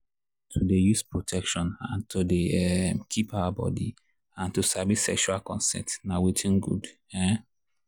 to dey use protection and to dey um keep our body and to sabi sexual consent na watin good. um